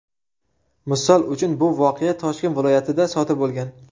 Misol uchun, bu voqea Toshkent viloyatida sodir bo‘lgan.